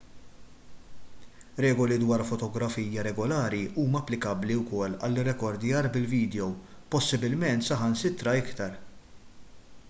regoli dwar fotografija regolari huma applikabbli wkoll għall-irrekordjar bil-vidjow possibbilment saħansitra iktar